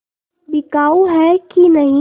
बिकाऊ है कि नहीं